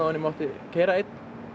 ég mátti keyra einn